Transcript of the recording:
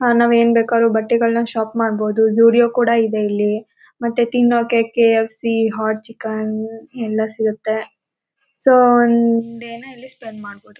ಅಹ್ ನಾವ್ ಏನ್ ಬೇಕಾದ್ರು ಬಟ್ಟೆಗಳು ಶಾಪ್ ಮಾಡಬಹುದು ಝುರಿಓ ಕೂಡ ಇದೆ ಮತ್ತೆ ತಿನಕ್ಕೆ K _F _C hot chicken ಎಲ್ಲ ಸಿಗುತ್ತೆ ಸೊ ಡೇ ನ ಇಲ್ಲಿ ಸ್ಪೆಂಡ್ ಮಾಡಬಹುದು